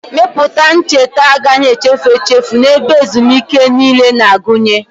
Mepụta ncheta agaghị echefu echefu na ebe ezumike niile na-agụnye.